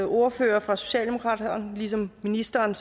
ordfører for socialdemokratiet og ligesom ministeren